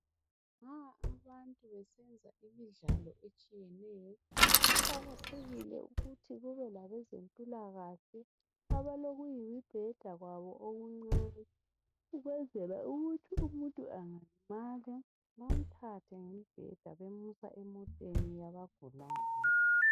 Nxa abantu besenza imidlalo etshiyeneyo kuqakathekile ukuthi kube labezempila kahle abalokuyimibheda kwabo okuncane ukwenzela ukuthi umuntu angalimala bemthathe ngembheda bemusa emoteni yabagulayo